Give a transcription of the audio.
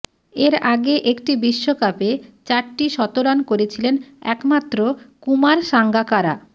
এর আগে একটি বিশ্বকাপে চারটি শতরান করেছিলেন একমাত্র কুমার সাঙ্গাকারা